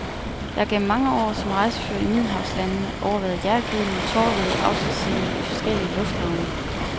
Jeg har gennem mange år som rejsefører i middelhavslandene overværet hjertegribende, tårevædede afskedsscener i forskellige lufthavne.